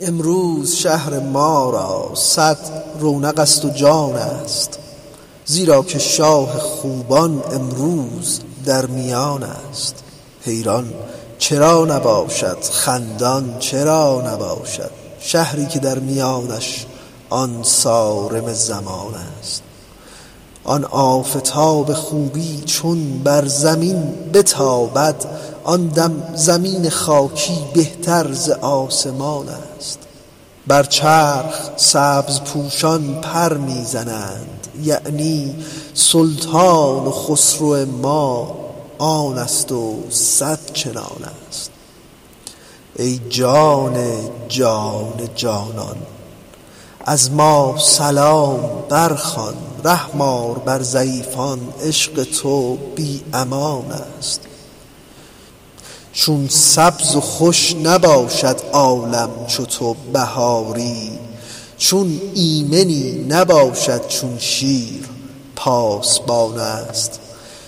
امروز شهر ما را صد رونق ست و جانست زیرا که شاه خوبان امروز در میانست حیران چرا نباشد خندان چرا نباشد شهری که در میانش آن صارم زمانست آن آفتاب خوبی چون بر زمین بتابد آن دم زمین خاکی بهتر ز آسمانست بر چرخ سبزپوشان پر می زنند یعنی سلطان و خسرو ما آن ست و صد چنانست ای جان جان جانان از ما سلام برخوان رحم آر بر ضعیفان عشق تو بی امانست چون سبز و خوش نباشد عالم چو تو بهاری چون ایمنی نباشد چون شیر پاسبانست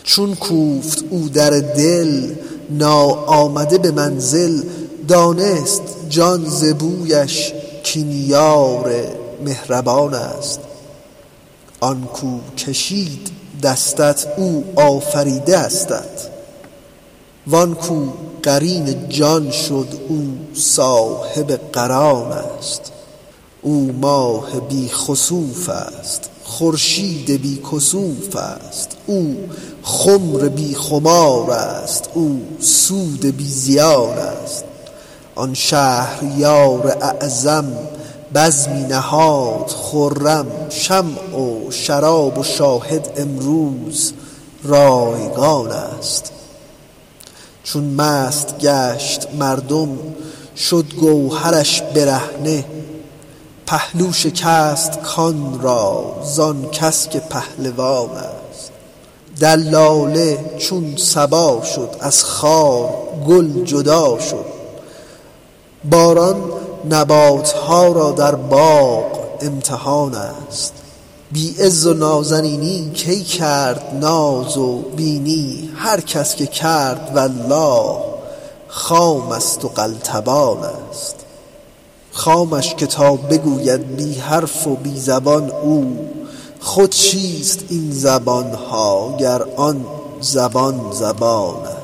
چون کوفت او در دل ناآمده به منزل دانست جان ز بویش کان یار مهربانست آن کو کشید دستت او آفریده استت وان کو قرین جان شد او صاحب قرانست او ماه بی خسوف ست خورشید بی کسوف ست او خمر بی خمارست او سود بی زیانست آن شهریار اعظم بزمی نهاد خرم شمع و شراب و شاهد امروز رایگانست چون مست گشت مردم شد گوهرش برهنه پهلو شکست کان را زان کس که پهلوانست دلاله چون صبا شد از خار گل جدا شد باران نبات ها را در باغ امتحانست بی عز و نازنینی کی کرد ناز و بینی هر کس که کرد والله خام ست و قلتبانست خامش که تا بگوید بی حرف و بی زبان او خود چیست این زبان ها گر آن زبان زبانست